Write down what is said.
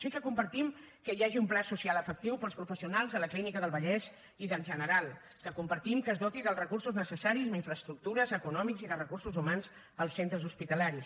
sí que compartim que hi hagi un pla social efectiu per als professionals de la clínica del vallès i del general que compartim que es doti dels recursos necessaris amb infraestructures econòmics i de recursos humans els centres hospitalaris